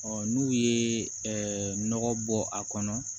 n'u ye nɔgɔ bɔ a kɔnɔ